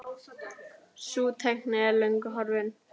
Sú tækni er löngu horfin.